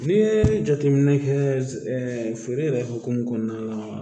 N'i ye jateminɛ kɛ feere yɛrɛ hokumu kɔnɔna la